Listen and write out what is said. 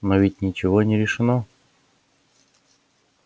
но ведь ничего не решено